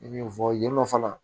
I bɛ fɔ yen nɔ fana